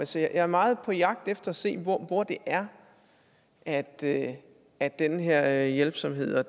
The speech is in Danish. så jeg er meget på jagt efter at se hvor hvor det er er at at den her hjælpsomhed og